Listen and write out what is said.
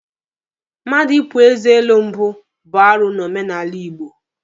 Mmadụ ịpu eze elu mbụ bụ arụ n'omenala Igbo.